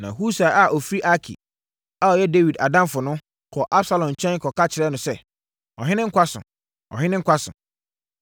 Na Husai a ɔfiri Arki a ɔyɛ Dawid adamfo no, kɔɔ Absalom nkyɛn kɔka kyerɛɛ no sɛ, “Ɔhene nkwa so! Ɔhene nkwa so!”